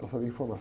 Para saber